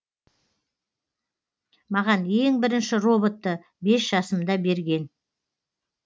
маған ең бірінші роботты бес жасымда берген